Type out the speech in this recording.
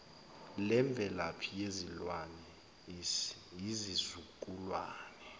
lemvelaphi yesilwane izizukulwana